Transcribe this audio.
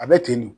A bɛ ten de